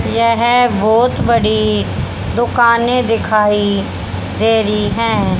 यह बहोत बड़ी दुकाने दिखाई दे रही है।